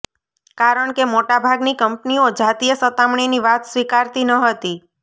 કારણ કે મોટા ભાગની કંપનીઓ જાતીય સતામણીની વાત સ્વીકારતી ન હતી